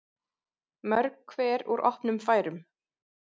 Mörg hver úr opnum færum.